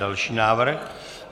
Další návrh.